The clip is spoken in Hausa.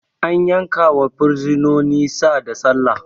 An yankawa bursinoni Sa da Sallah